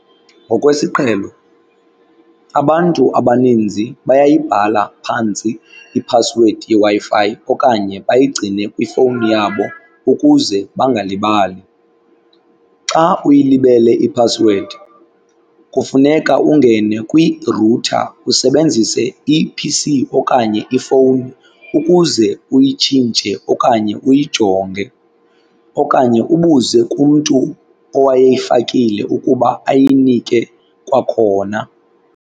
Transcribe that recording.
Ngokwesiqhelo abantu abaninzi bayayibhala phantsi iphasiwedi yeWi-Fi okanye bayigcine kwifowuni yabo ukuze bangalibali. Xa uyilibele iphasiwedi kufuneka ungene kwirutha usebenzise i-P_C okanye ifowuni ukuze uyitshintshe okanye uyijonge okanye ubuze kumntu owayeyifakile ukuba ayinike kwakhona.